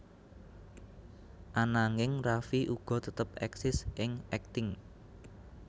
Ananging Raffi uga tetep éksis ing akting